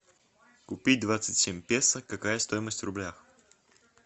купить двадцать семь песо какая стоимость в рублях